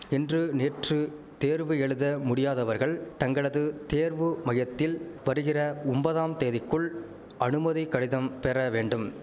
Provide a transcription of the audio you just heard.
இன்று நேற்று தேர்வு எழுத முடியாதவர்கள் தங்களது தேர்வு மையத்தில் வருகிற ஒம்பதாம் தேதிக்குள் அனுமதி கடிதம் பெற வேண்டும்